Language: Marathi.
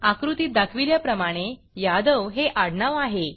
आकृतीत दाखविल्याप्रमाणे यादव हे आडनाव आहे